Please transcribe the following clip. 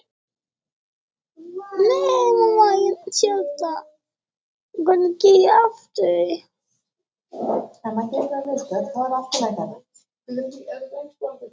Þórhildur Þorkelsdóttir: Þannig að þær eru í rauninni óþarfar?